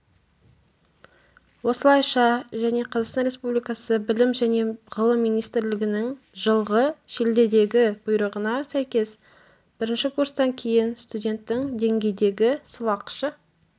осылайша және қазақстан республикасы білім және ғылым министрлігінің жылғы шілдедегі бұйрығына сәйкес бірінші курстан кейін студенттің деңгейдегі сылақшы